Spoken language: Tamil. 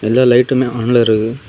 ஏதோ லைட்டு மே ஆன்ல இருக்கு.